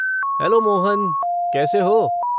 Hello Mohan, कैसे हो?